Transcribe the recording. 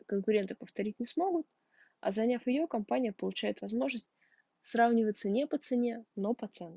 конкуренты повторить не смогут а заняв её компания получает возможность сравниваться не по цене но по ценам